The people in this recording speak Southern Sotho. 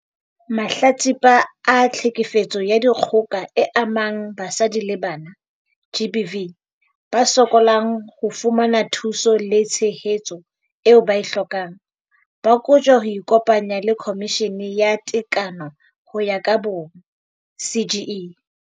Mahlatsipa a Tlhekefetso ya Dikgoka e Amang Basadi le Bana, GBV, ba sokolang ho fumana thuso le tshehetso eo ba e hlokang, ba kotjwa ho ikopanya le Khomishene ya Tekano ho ya ka Bong, CGE.